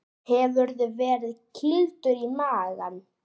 Hefurðu verið kýldur í magann?